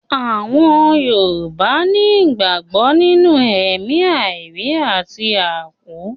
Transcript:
Àwọn Yorùbá ni ìgbàgbọ́ nínú ẹ̀mí àìrí àti àkú